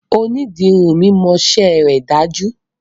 Onídìrí mi mọṣẹ́ rẹ̀ dájú.